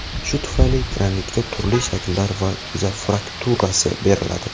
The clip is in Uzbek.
Shu tufayli granitga turli shakllar va yuza fakturasi beriladi.